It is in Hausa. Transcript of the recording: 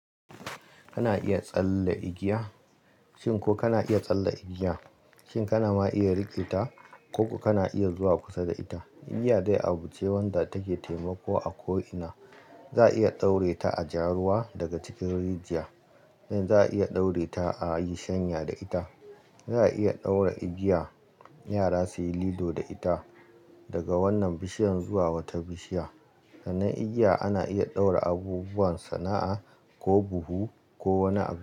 Kana iya tsalle igiya? Shin ko kana iya tsalle igiya? Shin kana ma iya rike ta? Ko kuma kana iya zuwa kusa da ita? Igiya dai abu ce wanda take taimako a ko'ina. Za a iya daure ta a jaruwa daga cikin rijiya, den za a iya daure ta a yi shanya da ita. Za a iya daure igiya yara suyi lilo da ita daga wannan bishiyar zuwa wata bishiya. Sannan igiya ana iya daure abubuwan sana'a ko buhu ko wani abu.